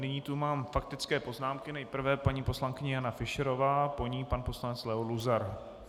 Nyní tu mám faktické poznámky - nejprve paní poslankyně Jana Fischerová, po ní pan poslanec Leo Luzar.